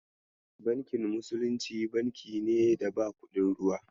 Bankin musulunci, banki ne da ba kuɗin ruwa.